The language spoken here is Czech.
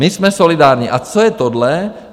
My jsme solidární, a co je tohle?